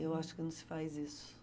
Eu acho que não se faz isso.